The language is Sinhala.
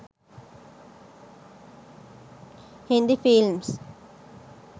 hindi films